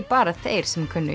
bara þeir sem kunnu